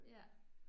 Ja